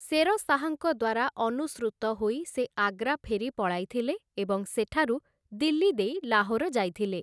ଶେର ଶାହାଙ୍କ ଦ୍ୱାରା ଅନୁସୃତ ହୋଇ ସେ ଆଗ୍ରା ଫେରି ପଳାଇଥିଲେ ଏବଂ ସେଠାରୁ ଦିଲ୍ଲୀ ଦେଇ ଲାହୋର ଯାଇଥିଲେ ।